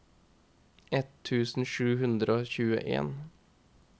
ett tusen sju hundre og tjueen